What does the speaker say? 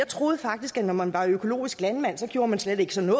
troede faktisk at når man var økologisk landmand så gjorde man slet ikke sådan